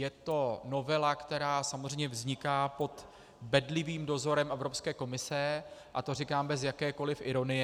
Je to novela, která samozřejmě vzniká pod bedlivým dozorem Evropské komise, a to říkám bez jakékoli ironie.